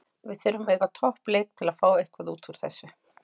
Við þurfum að eiga topp leik til að fá eitthvað útúr þessu.